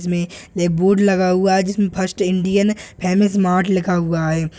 जिसमें बोर्ड लगा हुआ है जिसमें फर्स्ट इंडियन फेमस मार्ट लिखा हुआ है।